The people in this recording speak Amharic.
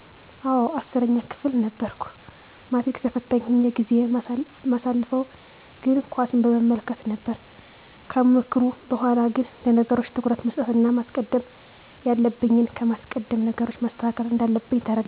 አወ 10 ክፍል ነበርኩ ማትሪክ ተፈታኝ ሁኘ ጊዜየን ማሳልፈው ግን ኳስን በመመልከት ነበር ከምክሩ በሗላ ግን ለነገሮች ትኩረት መስጠት እና ማስቀደም ያለብኝን በማስቀደም ነገሮችን ማስተካከል እንዳለብኝ ተረዳው።